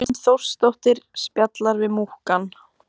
Hrund Þórsdóttir: Spjalla við múkkann?